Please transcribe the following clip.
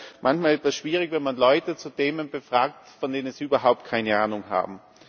Es ist ja manchmal etwas schwierig, wenn man Leute zu Themen befragt, von denen sie überhaupt keine Ahnung haben.